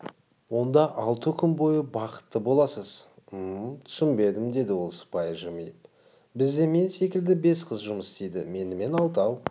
онда алты күн бойы бақытты боласыз мм түсінбедім деді ол сыпайы жымиып бізде мен секілді бес қыз жұмыс істейді менімен алтау